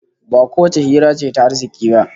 Ba kowace hira ce ta arziki ba